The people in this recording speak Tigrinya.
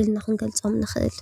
ኢልና ክንገልፆም ንኽእል፡፡